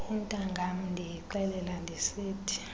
intangam ndiyixelela ndisithi